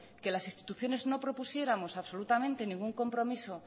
que las instituciones no propusiéramos absolutamente ningún compromiso